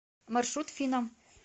маршрут финам